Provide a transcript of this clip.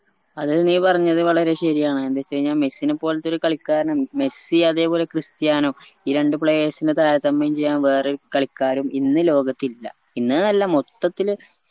അതെ നീ പറഞ്ഞത് വളരെ ശെരിയാണ് എന്തെച്ചഴിഞ്ഞ മെസ്സിനെ പൊൽത്തൊരു കളിക്കാരനും മെസ്സി അതുപോലെ ക്രിസ്ത്യാനോ ഈ രണ്ട് players നെ താരതമ്യം ചെയ്യാൻ വേറെ ഒരു കളിക്കാരും ഇന്ന് ലോകത്തില്ല ഇന്ന്ന്നല്ല മൊത്തത്തില്